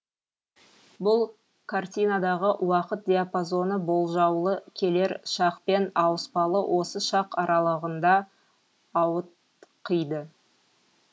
бұл картинадағы уақыт диапазоны болжаулы келер шақ пен ауыспалы осы шақ аралығында ауытқиды